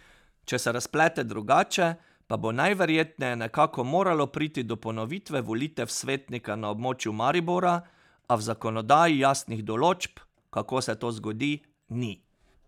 Če se razplete drugače, pa bo najverjetneje nekako moralo priti do ponovitve volitev svetnika na območju Maribora, a v zakonodaji jasnih določb, kako se to zgodi, ni.